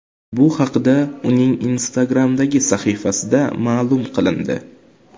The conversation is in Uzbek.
Bu haqda uning Instagram’dagi sahifasida ma’lum qilindi.